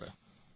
નમસ્કાર